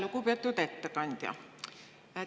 Lugupeetud ettekandja!